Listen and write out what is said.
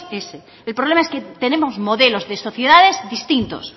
ese el problema es que tenemos modelos de sociedades distintos